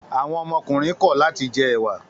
Àwọn ọmọkùnrin kọ̀ láti jẹ ẹ̀wà?